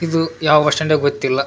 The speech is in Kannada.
ಇದು ಯಾವ್ ಬಸ್ ಸ್ಟ್ಯಾಂಡೊ ಗೊತ್ತಿಲ್ಲ.